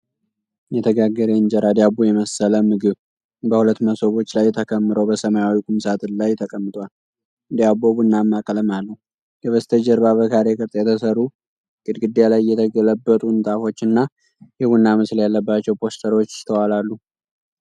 የተጋገረ የእንጀራ ዳቦ የመሰለ ምግብ በሁለት መሶቦች ላይ ተከምሮ በሰማያዊ ቁም ሳጥን ላይ ተቀምጧል። ዳቦው ቡናማ ቀለም አለው። ከበስተጀርባ በካሬ ቅርጽ የተሰሩ ግድግዳ ላይ የተለበጡ ንጣፎች እና የቡና ምስል ያለባቸው ፖስተሮች ይስተዋላሉ።